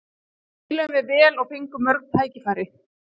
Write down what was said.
Við spiluðum vel og fengum mörg tækifæri.